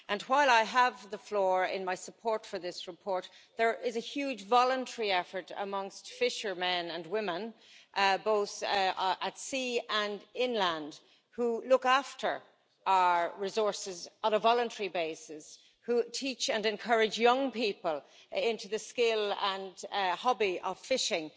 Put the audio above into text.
While I have the floor in my support for this report, there is a huge voluntary effort amongst fishermen and women, both at sea and inland, who look after our resources on a voluntary basis, who teach and encourage young people into the skill and hobby of fishing.